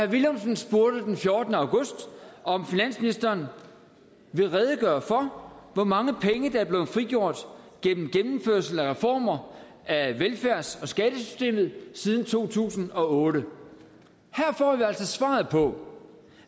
villumsen spurgte den fjortende august om finansministeren ville redegøre for hvor mange penge der var blevet frigjort gennem gennemførelse af reformer af velfærds og skattesystemet siden to tusind og otte her får vi altså svaret på